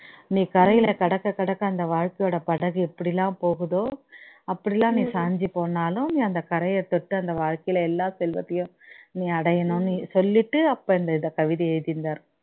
நீ கரைகளை கடக்க கடக்க அந்த வாழ்கையோட படகு எப்படி எல்லாம் போகுதோ அப்படி எல்லாம் நீ சாஞ்சி போனாலும் நீ அந்த கரையை தொட்டு அந்த வாழ்கையில் எல்லா செல்வத்தையும் நீ அடையனும்னு சொல்லிட்டு அப்போ இந்த இதை கவிதையை எழுதி இருந்தாரு